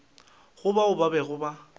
go bao ba bego ba